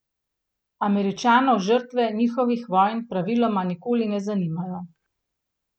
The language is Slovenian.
Američanov žrtve njihovih vojn praviloma nikoli ne zanimajo.